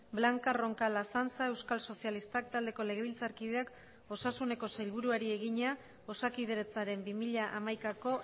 blanca roncal azanza euskal sozialistak taldeko legebiltzarkideak osasuneko sailburuari egina osakidetzaren bi mila hamaikako